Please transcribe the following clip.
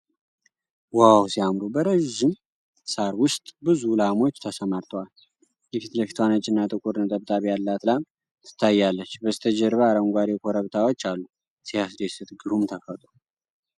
ዋው ሲያምሩ! በረዥም ሣር ውስጥ ብዙ ላሞች ተሰማርተዋል ። የፊት ለፊቷ ነጭና ጥቁር ነጠብጣብ ያላት ላም ትታያለች ። በስተጀርባ አረንጓዴ ኮረብታዎች አሉ። ሲያስደስት! ግሩም ተፈጥሮ !!!